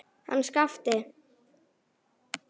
Hann Skapti!